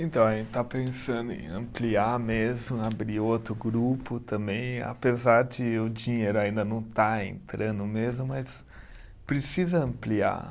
Então, a gente está pensando em ampliar mesmo, abrir outro grupo também, apesar de o dinheiro ainda não estar entrando mesmo, mas precisa ampliar.